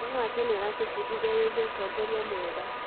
ũhoro wa tene ũratũbundithia wĩgiĩ ũtongoria mwega.